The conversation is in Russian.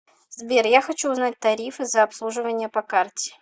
сбер я хочу узнать тарифы за обслуживание по карте